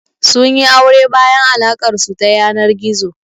Sun yi aure bayan alaƙar su ta yanar gizo.